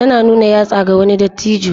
Tana nuna yatsa ga wani dattijo.